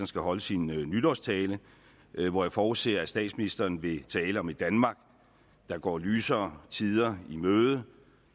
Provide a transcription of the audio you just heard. skal holde sin nytårstale hvor jeg forudser at statsministeren vil tale om et danmark der går lysere tider i møde